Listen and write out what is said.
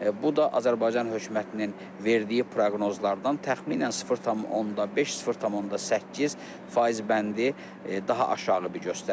bu da Azərbaycan hökumətinin verdiyi proqnozlardan təxminən 0,5, 0,8 faiz bəndi daha aşağı bir göstəricidir.